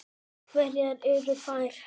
Hverjar eru þær?